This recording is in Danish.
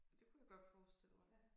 Det kunne jeg godt forestille mig